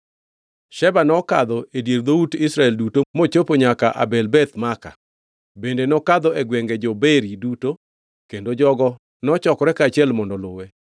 Sheba nokadho e dier dhout Israel duto mochopo nyaka Abel Beth Maaka, bende nokadho e gwenge jo-Beri duto, kendo jogo nochokore kaachiel mondo oluwe.